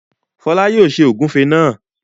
Fọlá yóò ṣe ògúnfe náà.